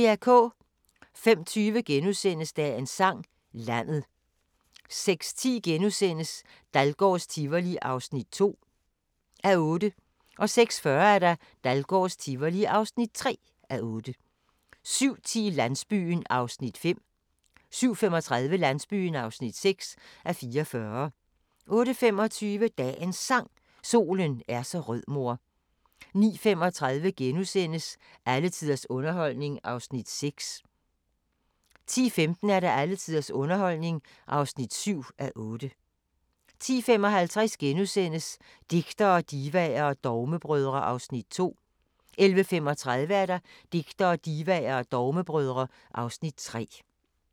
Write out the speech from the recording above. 05:20: Dagens Sang: Landet * 06:10: Dahlgårds Tivoli (2:8)* 06:40: Dahlgårds Tivoli (3:8) 07:10: Landsbyen (5:44) 07:35: Landsbyen (6:44) 08:25: Dagens Sang: Solen er så rød mor 09:35: Alle tiders underholdning (6:8)* 10:15: Alle tiders underholdning (7:8) 10:55: Digtere, Divaer og Dogmebrødre (Afs. 2)* 11:35: Digtere, Divaer og Dogmebrødre (Afs. 3)